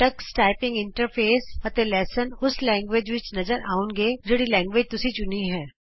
Tux typing interface ਅਤੇ ਪਾਠ ਕ੍ਰਮ ਉਸ ਭਾਸ਼ਾ ਵਿਚ ਨਜ਼ਰ ਆਉਣਗੇ ਜਿਹੜੀ ਭਾਸ਼ਾ ਤੁਸੀਂ ਚੁਣੀ ਹੈ